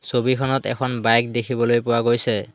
ছবিখনত এখন বাইক দেখিবলৈ পোৱা গৈছে।